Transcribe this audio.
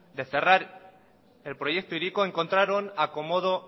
de cerrar el proyecto hiriko encontraron acomodo